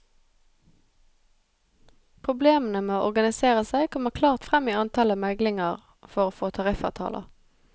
Problemene med å organisere seg kommer klart frem i antallet meglinger for å få tariffavtaler.